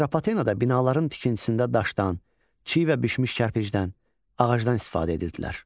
Atropatenada binaların tikintisində daşdan, çiy və bişmiş kərpicdən, ağacdan istifadə edirdilər.